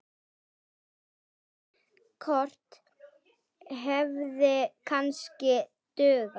Eitt lítið kort hefði kannski dugað.